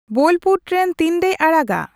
Bolpur train ᱛᱤᱱᱨᱮᱭ ᱟᱲᱟᱜᱼᱟ